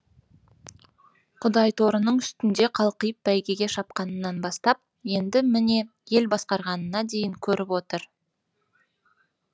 құдайторының үстінде қалқиып бәйгеге шапқанынан бастап енді міне ел басқарғанына дейін көріп отыр